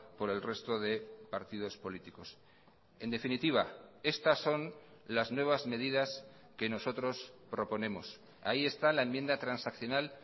por el resto de partidos políticos en definitiva estas son las nuevas medidas que nosotros proponemos ahí está la enmienda transaccional